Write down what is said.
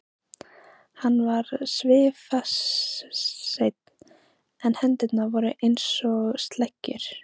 Hann var svifaseinn en hendurnar voru einsog sleggjur.